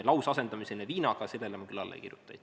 Lausasendamisele viinaga ma küll alla ei kirjuta.